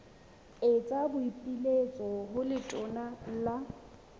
etsa boipiletso ho letona la